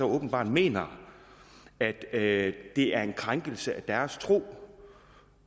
åbenbart mener at det er en krænkelse af deres tro